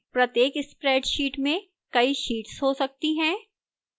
प्रत्येक spreadsheet में कई sheets हो सकती हैं